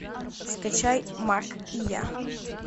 скачай мак и я